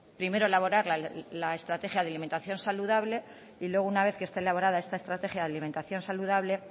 primero elaborar la estrategia de alimentación saludable y luego una vez que esté elaborada esta estrategia de alimentación saludable